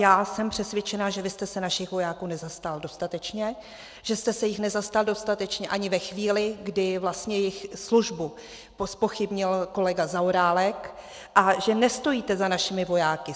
Já jsem přesvědčená, že vy jste se našich vojáků nezastal dostatečně, že jste se jich nezastal dostatečně ani ve chvíli, kdy vlastně jejich službu zpochybnil kolega Zaorálek, a že nestojíte za našimi vojáky.